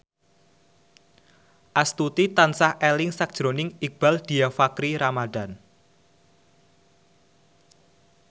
Astuti tansah eling sakjroning Iqbaal Dhiafakhri Ramadhan